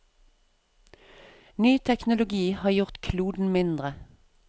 Ny teknologi har gjort kloden mindre.